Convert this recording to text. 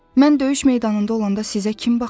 Mən döyüş meydanında olanda sizə kim baxacaq?